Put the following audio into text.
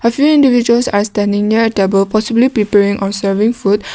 a few individuals are standing near at above possibly people in are serving food.